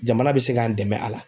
Jamana bɛ se k'an dɛmɛ a la.